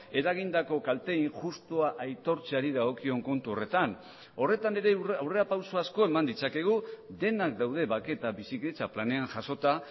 eragindako kalte injustua aitortzeari dagokion kontu horretan horretan ere aurrerapauso asko eman ditzakegu denak daude bake eta bizikidetza planean jasota